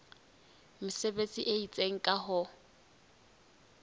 mesebetsi e itseng ka ho